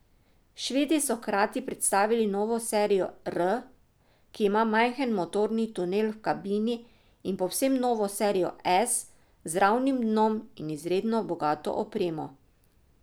Švedi so hkrati predstavili novo serijo R, ki ima majhen motorni tunel v kabini in povsem novo serijo S z ravnim dnom in izredno bogato opremo.